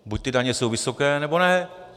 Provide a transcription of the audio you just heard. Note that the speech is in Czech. Buď ty daně jsou vysoké, nebo ne.